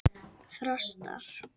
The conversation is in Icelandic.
Þrastar